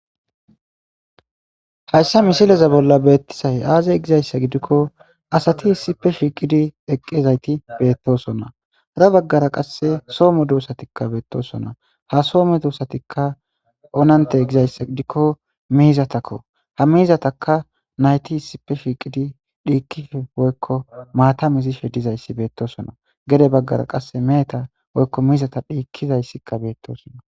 Hayssa misileza bolla beettisay aazey gizayssa gidikko asati issipe shiiqidi eqqezayti beettosonna ra baggara qasse soomo duussatikka beettosonna ha soome duussatikka onante gizayssa gidikko miizatakko ha miizataka nayti issipe shiiqidi dhiikife woykko maatamizishe dizayssi beettosona gede baggara qasse meeta woykko miizata dhiikizayssikka beettosonna.